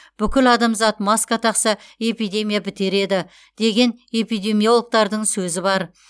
бүкіл адамзат маска тақса эпидемия бітер еді деген эпидемиологтардың сөзі бар